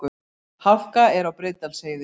Hálka er á Breiðdalsheiði